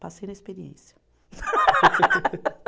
Passei na experiência.